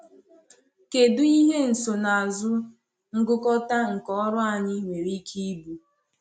Kèdụ ihe nsonaazụ ngụkọta nke ọrụ anyị nwere ike ịbụ?